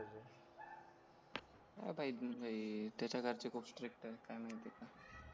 त्याच्या घरचे खूप स्ट्रिक्ट काय माहिती का